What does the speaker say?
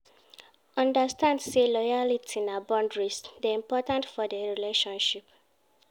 Understand say loyalty and boundaries de important for the relationship